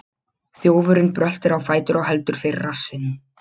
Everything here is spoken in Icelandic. Þjófurinn bröltir á fætur og heldur fyrir rassinn.